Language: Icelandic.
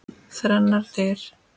Þrennar dyr.